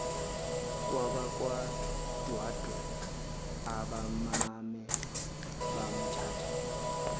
kwabakwandwandwe abamane bamthatha